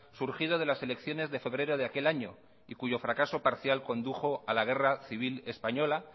surgido de las elecciones de febrero de aquel año y cuyo fracaso parcial condujo a la guerra civil española